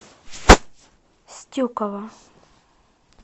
стюкова